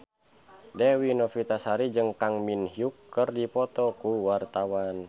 Dewi Novitasari jeung Kang Min Hyuk keur dipoto ku wartawan